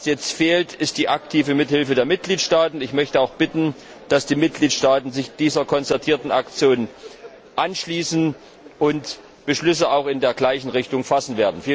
Was jetzt fehlt, ist die aktive Mithilfe der Mitgliedstaaten. Ich möchte auch bitten, dass die Mitgliedstaaten sich der konzertierten Aktion anschließen und Beschlüsse in der gleichen Richtung fassen.